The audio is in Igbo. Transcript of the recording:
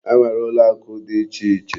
E nwere ụlọakụ dị ichè iche.